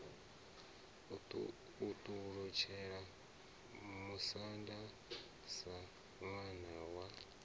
alutshela musanda sa ṋwana wa